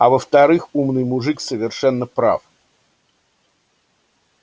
а во-вторых умный мужик совершенно прав